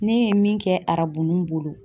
Ne ye min kɛ arabu nun bolo.